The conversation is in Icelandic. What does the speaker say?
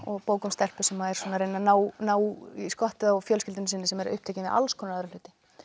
bók um stelpu sem er að reyna að ná ná í skottið á fjölskyldunni sem er upptekin við alls konar aðra hluti